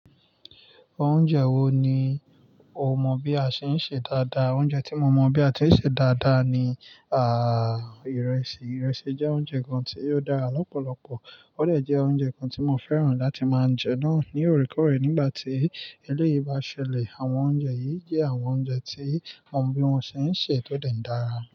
Oúnjẹ wo ni o mọ bí a ṣe ń ṣe dáadáa? Oúnjẹ tí mo mọ bí a ti ń se dáadáa ni, àà, ìrẹsì. Ìrẹsì jẹ́ oúnjẹ kan tí ó dára lọ́pọ̀lọpọ̀. Ó de jẹ́ oúnjẹ kan tí mo fẹ́ràn láti máa jẹ náà ní òrèkoorè nígbà tí eléyii bá ṣẹlẹ̀. Àwọn oúnjẹ yìí jẹ́ àwọn oúnjẹ tí mo mọ bí wọ́n ṣe ń se tó den dára.